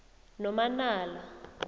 nomanala